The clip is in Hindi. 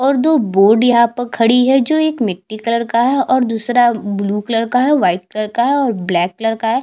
और दो बोर्ड यहाँ पर खड़ी है जो एक मिटटी कलर का है और दूसरा ब्लू कलर का है वाइट कलर का है और ब्लैक कलर का है।